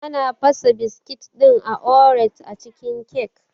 Ana fasa biskit ɗin oreos a cikin kyak